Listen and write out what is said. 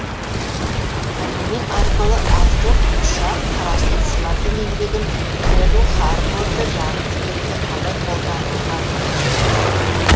аниме арқылы автор ұшақ құрастырушылардың еңбегін перл харборды жарып жіберуге қалай қолданылғанын ашып көрсетеді